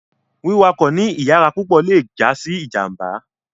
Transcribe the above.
Wiwakọ ni iyara pupọ le ja si ijamba